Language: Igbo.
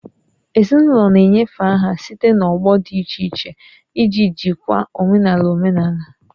Ezinụlọ na-enyefe aha site n'ọgbọ dị iche iche iji jikwaa omenala omenala